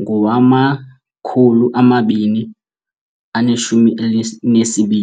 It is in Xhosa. ngowama-2022.